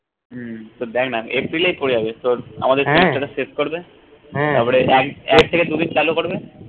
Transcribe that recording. উম এপ্রিলেই পরে যাবে তোর আমাদের শেষ করবে তারপরে এক এক থেকে দুই দিন চালু করবে